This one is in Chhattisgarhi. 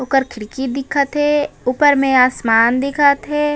ओकर खिड़की दिखत हे ऊपर में आसमान दिखत हे।